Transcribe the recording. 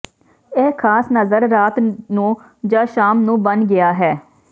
ਇਹ ਖਾਸ ਨਜ਼ਰ ਰਾਤ ਨੂੰ ਜ ਸ਼ਾਮ ਨੂੰ ਬਣ ਗਿਆ ਹੈ